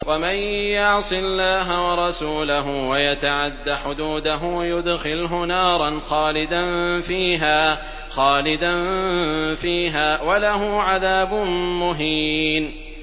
وَمَن يَعْصِ اللَّهَ وَرَسُولَهُ وَيَتَعَدَّ حُدُودَهُ يُدْخِلْهُ نَارًا خَالِدًا فِيهَا وَلَهُ عَذَابٌ مُّهِينٌ